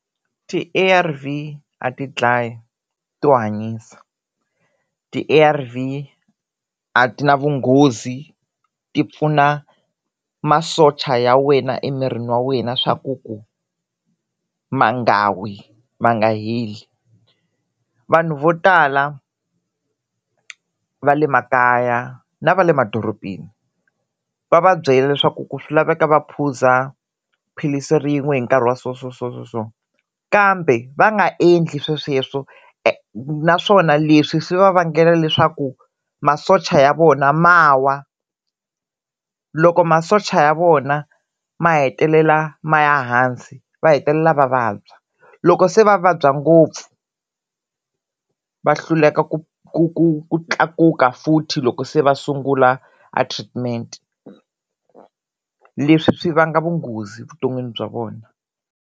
Ti-A_R_V a ti dlayI to hanyisa, ti-A_R_V a ti na vunghozi ti pfuna masocha ya wena emirini wa wena swa ku ku ma nga wi ma nga heli. Vanhu vo tala va le makaya na va le madorobeni va va byela leswaku ku swi laveka va phuza philisi rin'we hi nkarhi wa so so so so so kambe va nga endli swaesweswo naswona leswi swi va vangela leswaku masocha ya vona ma wa loko masocha ya vona ma hetelela ma ya hansi va hetelela va vabya loko se va vabya ngopfu va hluleka ku ku ku ku tlakuka futhi loko se va sungula a treatment leswi swi vanga vunghozi vuton'wini bya vona.